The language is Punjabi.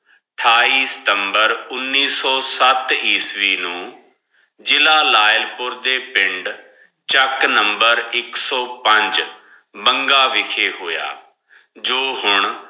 ਅਠਾਈ ਸਤੰਬਰ ਉਨੇਸ ਸੋ ਸੱਤ ਈਸਵੀ ਨੂ ਜਿਲਾ ਲੇਲ ਪੋਉਰ ਦੇ ਪਿੰਡ ਚਕ ਨੰਬਰ ਇਕ ਸੋ ਪੰਜ ਬੰਗਾ ਵਿਚ ਹੋਯਾ ਜੋ ਹੋਣ